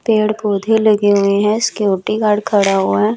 पेड़ पौधे लगे हुए हैं सिक्योरिटी गार्ड खड़ा हुआ है।